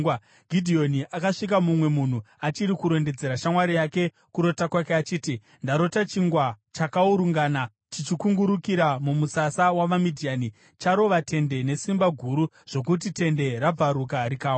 Gidheoni akasvika mumwe munhu achiri kurondedzera shamwari yake kurota kwake, achiti, “Ndarota chingwa chakaurungana chichikungurukira mumusasa wavaMidhiani. Charova tende nesimba guru zvokuti tende rakudubuka rikawa.”